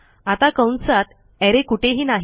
आता कंसात अरे कुठेही नाही